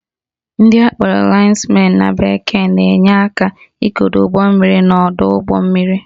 Ndị akpọrọ lines men na bekee na-enye aka ikedo ugbommiri n'ọdọụgbọmmiri